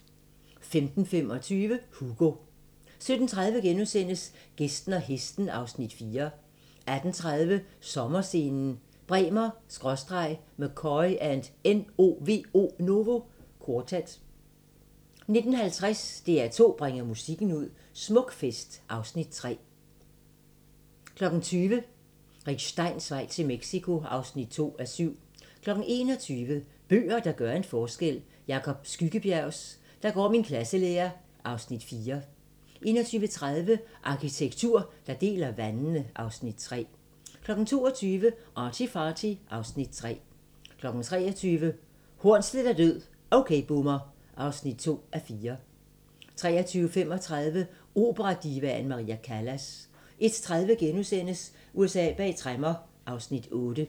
17:30: Gæsten og hesten (Afs. 4)* 18:30: Sommerscenen: Bremer/McCoy & NOVO Quartet 19:50: DR2 bringer musikken ud - Smukfest (Afs. 31) 20:00: Rick Steins vej til Mexico (2:7) 21:00: Bøger, der gør en forskel: Jacob Skyggebjergs "Der går min klasselærer" (Afs. 4) 21:30: Arkitektur, der deler vandene (Afs. 3) 22:00: ArtyFarty (Afs. 3) 23:00: Hornsleth er død - OK Boomer (2:4) 23:35: Operadivaen Maria Callas 01:30: USA bag tremmer (Afs. 8)*